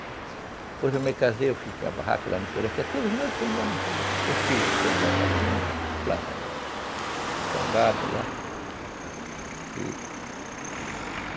Depois eu me casei, eu fiz minha barraca lá no interior, que até hoje ainda tem lá no interior, que é o filho que tem lá um gadinho, planta, tem um gado lá, e